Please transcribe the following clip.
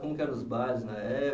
Como que era os bailes na eh